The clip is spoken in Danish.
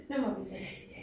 Nu må vi se